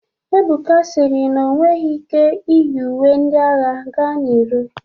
Ebuka sịrị na onweghi ike iyi uwe ndi agha ga n'iro.